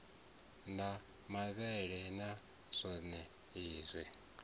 na mavhele na zwonezwi a